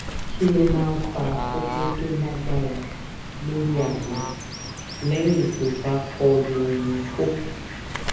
kí ló máa ń fa koko tó lágbára lórí agbon lẹyìn tó bá kọlu oun ko